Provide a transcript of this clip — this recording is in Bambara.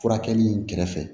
Furakɛli in kɛrɛfɛ